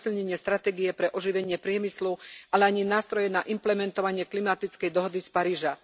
posilnenie stratégie pre oživenie priemyslu, ale ani nástroje na implementovanie klimatickej dohody z Paríža.